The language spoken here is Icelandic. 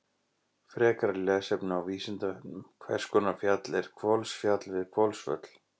Frekara lesefni á Vísindavefnum: Hvers konar fjall er Hvolsfjall við Hvolsvöll?